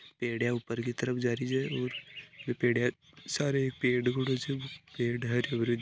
सीडिया ऊपर की तरफ जा रही है और पेडिया सारे पेड़ हरे भरो--